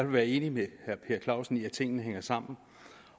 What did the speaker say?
være enig med herre per clausen i at tingene hænger sammen